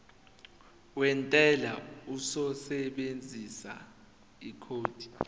wentela uzosebenzisa ikhodi